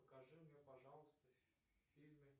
покажи мне пожалуйста фильмы